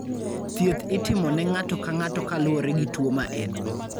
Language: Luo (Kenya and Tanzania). Thieth itimo ne ng'ato ka ng'ato kaluwore gi tuwo ma en-go.